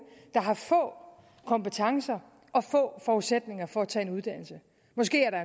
der har få kompetencer og få forudsætninger for at tage en uddannelse måske har